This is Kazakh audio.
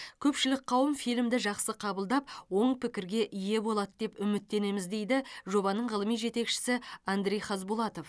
көпшілік қауым фильмді жақсы қабылдап оң пікірге ие болады деп үміттенеміз дейді жобаның ғылыми жетекшісі андрей хазбулатов